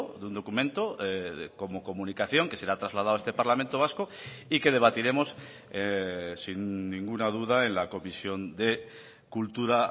de un documento como comunicación que será trasladado a este parlamento vasco y que debatiremos sin ninguna duda en la comisión de cultura